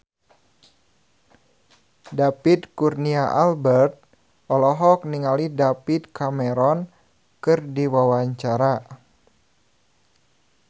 David Kurnia Albert olohok ningali David Cameron keur diwawancara